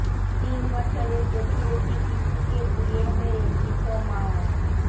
তিন বছরের প্রতিবেশী শিশুকে পুড়িয়ে মেরে ধৃত মা ও